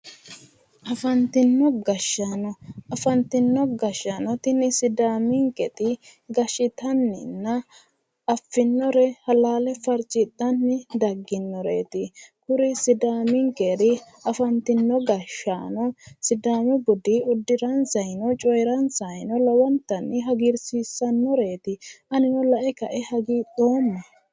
Afantino gashshaano. Afantino gashshsano tini sidaaminket gashshitaninna afinore halaale farcidhanni dagginoreeti. kuri sidaaminkeri afantino gashshaano sidaamu budi uddiransayiino cooyiirasayino lowontanni hagiirsiisannoreet. Anino la"e ka"e hagiidhooma.